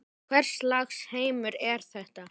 Hvers lags heimur er þetta?